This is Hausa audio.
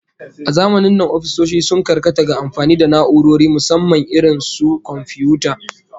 A zamanin nan ofisoshi sun karkata ga amfani da na'urori, musamman irin su komfiyuta